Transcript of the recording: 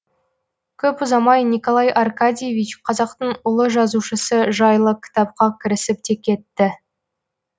көп ұзамай николай аркадьевич қазақтың ұлы жазушысы жайлы кітапқа кірісіп те кетті